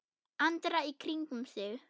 Andra í kringum sig.